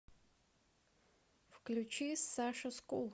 включи саша скул